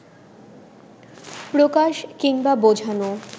প্রকাশ কিংবা বোঝানো